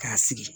K'a sigi